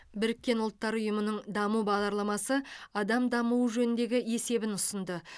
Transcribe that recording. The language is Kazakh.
біріккен ұлттар ұйымының даму бағдарламасы адам дамуы жөніндегі есебін ұсынды